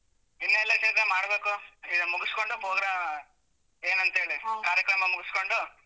ಇನ್ನ ಇಲ್ಲ ಚೈತ್ರ ಮಾಡ್ಬೇಕು ಈಗ ಮುಗಿಸ್ಕೊಂಡು progra~ ಏನಂತ ಹೇಳಿ ಕಾರ್ಯಕ್ರಮ ಮುಗಿಸ್ಕೊಂಡು.